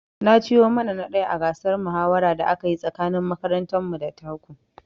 Ni na ci yo mana ta ɗaya a gasar mahawara da aka yi tsakanin makarantar mu da ta ku